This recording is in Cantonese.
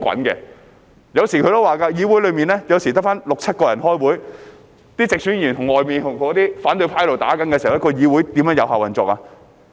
他也說過，議會內有時候只得六七人開會，當直選議員在外面跟反對派"打"的時候，議會如何有效運作呢？